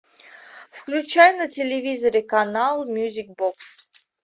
включай на телевизоре канал мюзик бокс